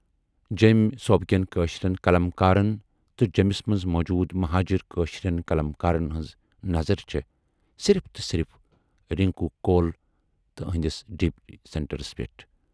جٮ۪مۍ صوٗبٕکٮ۪ن کٲشِرٮ۪ن قلمکارَن تہٕ جیمِس مَنز موٗجوٗد مہاجر کٲشِرٮ۪ن قلمکارن ہٕنز نظر چھے صرِف تہٕ صرِف رِنکو کول تہٕ ٲہٕندِس ڈی پی سیٚنٹرس پٮ۪ٹھ۔